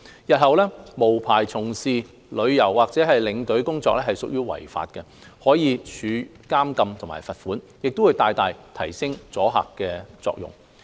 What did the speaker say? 日後，無牌從事導遊或領隊工作屬於違法，可處監禁和罰款，將會大大提升阻嚇作用。